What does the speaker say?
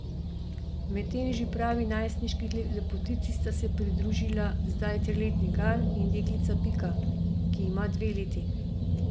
Medtem že pravi najstniški lepotici sta se pridružila zdaj triletni Gal in deklica Pika, ki ima dve leti.